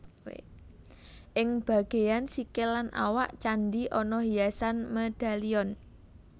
Ing bagéyan sikil lan awak candhi ana hiasan medalion